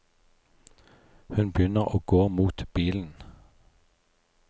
Hun begynner å gå mot bilen.